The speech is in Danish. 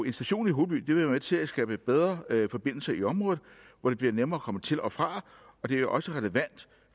en station i holeby vil være med til at skabe bedre forbindelser i området hvor det bliver nemmere at komme til og fra og det er også relevant